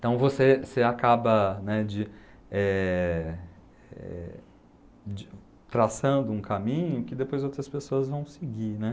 Então você você acaba, né, de, eh, eh, de, traçando um caminho que depois outras pessoas vão seguir, né.